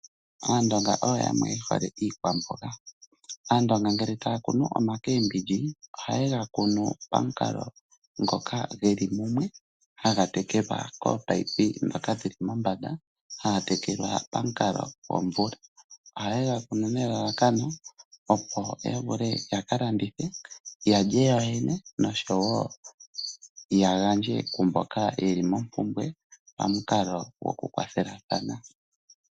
Aandonga oyo yamwe ye hole iikwamboga. Aandonga ngele taya kunu omikembindji ohaye ga kunu pamukalo ngoka geli mumwe, haga tekelwa kominino dhoka dhili mombanda haga tekulwa pamukalo gomvula. Ohaye ga kunu nelalakano opo ya vule ya ka landithe, ya lye yoyene noshowo ya gandje kumboka ye li mompumbwe pamukalo gokukwathelathana.